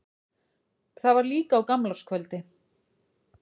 Það var líka á gamlárskvöldi.